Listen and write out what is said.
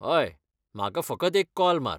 हय! म्हाका फकत एक कॉल मार.